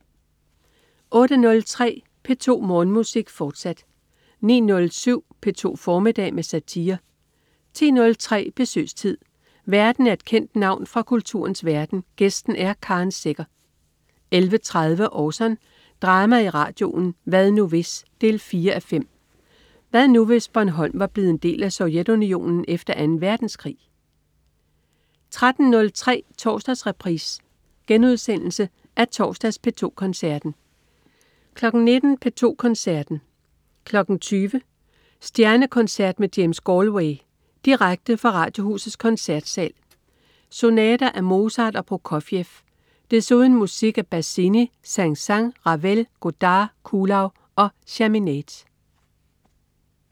08.03 P2 Morgenmusik, fortsat 09.07 P2 formiddag med satire 10.03 Besøgstid. Værten er et kendt navn fra kulturens verden, gæsten er Karen Secher 11.30 Orson. Drama i radioen. "Hvad nu hvis?" 4:5. Hvad nu, hvis Bornholm var blevet en del af Sovjetunionen efter Anden Verdenskrig? 13.03 Torsdagsreprise. Genudsendelse af torsdags P2 Koncerten 19.00 P2 Koncerten. 20.00 Stjernekoncert med James Galway. Direkte fra Radiohusets Koncertsal. Sonater af Mozart og Prokofjev. Desuden musik af Bazzini, Saint-Saëns, Ravel, Godard, Kuhlau, Chaminade